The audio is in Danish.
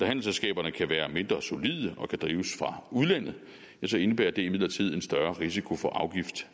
handelsselskaberne kan være mindre solide og kan drives fra udlandet indebærer det imidlertid en større risiko for afgifttab